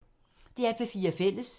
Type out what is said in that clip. DR P4 Fælles